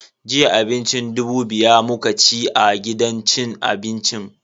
Jiya abincin dubu biya muka ci a gidan cin abincin.